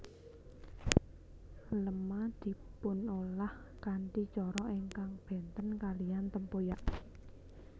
Lema dipunolah kanthi cara ingkang bènten kalihan tempoyak